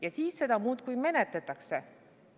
Ja siis seda muudkui menetletakse.